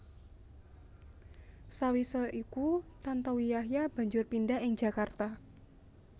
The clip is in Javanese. Sawisé iku Tantowi Yahya banjur pindah ing Jakarta